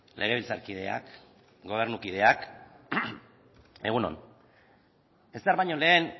legebiltzarkideak gobernukideak egun on ezer baino lehen